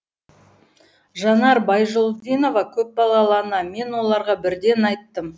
жанар байжолдинова көпбалалы ана мен оларға бірден айттым